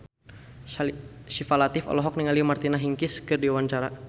Syifa Latief olohok ningali Martina Hingis keur diwawancara